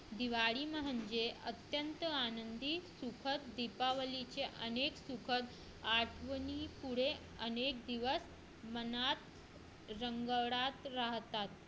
दिवाळी म्हणजे अत्यंत आनंदी सुखद दीपावलीचे अनेक सुखद आठवणी पुढे अनेक दिवस मनात रंगत राहतात